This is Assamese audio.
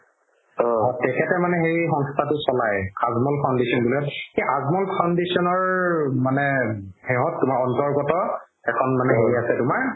তেখেতে মানে সেই সংস্থাতো চলাই আজমল foundation বুলি সেই আজমল foundation ৰ... মানে সেহত মানে অন্তৰ্গত এখন মানে হেৰি আছে তুমাৰ